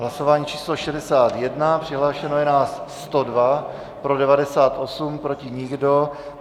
Hlasování číslo 61, přihlášeno je nás 102, pro 98, proti nikdo.